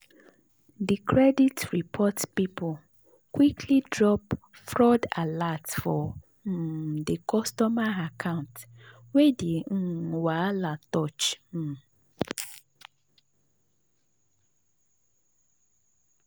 the credit report people quickly drop fraud alert for um the customer account wey the um wahala touch. um